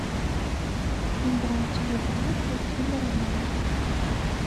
играть в игра крути барабан